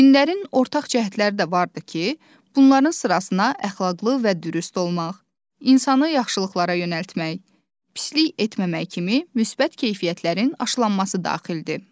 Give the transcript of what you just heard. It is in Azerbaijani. Dinlərin ortaq cəhətləri də vardır ki, bunların sırasına əxlaqlı və dürüst olmaq, insanı yaxşılıqlara yönəltmək, pislik etməmək kimi müsbət keyfiyyətlərin aşılanması daxildir.